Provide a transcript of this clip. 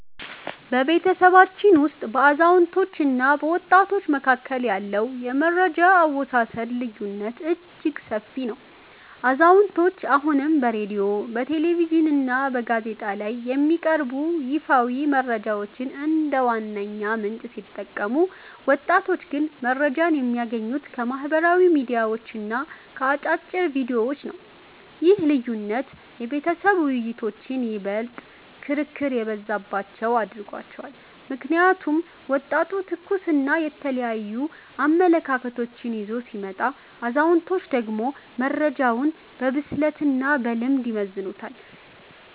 በቤተሰባችን ውስጥ በአዛውንቶችና በወጣቶች መካከል ያለው የመረጃ አወሳሰድ ልዩነት እጅግ ሰፊ ነው። አዛውንቶቹ አሁንም በሬድዮ፣ በቴሌቪዥንና በጋዜጣ ላይ የሚቀርቡ ይፋዊ መረጃዎችን እንደ ዋነኛ ምንጭ ሲጠቀሙ፣ ወጣቶቹ ግን መረጃን የሚያገኙት ከማኅበራዊ ሚዲያዎችና ከአጫጭር ቪዲዮዎች ነው። ይህ ልዩነት የቤተሰብ ውይይቶችን ይበልጥ ክርክር የበዛባቸው አድርጓቸዋል። ምክንያቱም ወጣቱ ትኩስና የተለያዩ አመለካከቶችን ይዞ ሲመጣ፣ አዛውንቶቹ ደግሞ መረጃውን በብስለትና በልምድ ይመዝኑታል።